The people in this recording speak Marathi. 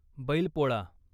बैलपोळा